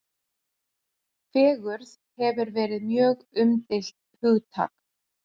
Fegurð hefur verið mjög umdeilt hugtak.